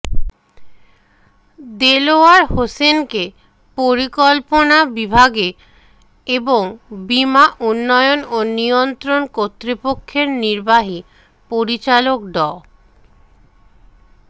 দেলোয়ার হোসেনকে পরিকল্পনা বিভাগে এবং বিমা উন্নয়ন ও নিয়ন্ত্রণ কর্তৃপক্ষের নির্বাহী পরিচালক ড